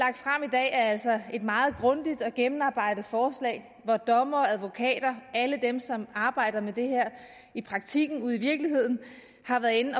er altså et meget grundigt og gennemarbejdet forslag hvor dommere advokater alle dem som arbejder med det her i praktikken ude i virkeligheden har været inde